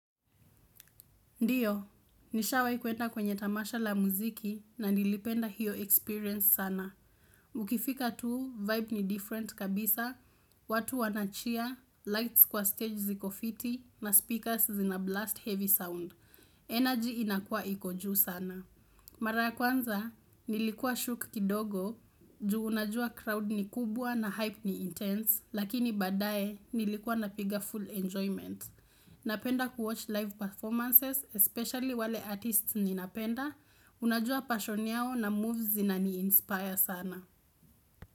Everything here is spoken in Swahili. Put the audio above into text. Ndiyo, nishawaikwenda kwenye tamasha la muziki na nilipenda hiyo experience sana. Ukifika tuu, vibe ni different kabisa, watu wana cheer, lights kwa stage ziko fiti na speakers zina blast heavy sound. Energy inakua iko juu sana. Mara kwanza, nilikuwa shook kidogo, juu unajua crowd ni kubwa na hype ni intense, lakini badae nilikuwa napiga full enjoyment. Napenda kuwatch live performances, especially wale artists ninapenda Unajua passion yao na moves zina ni inspire sana.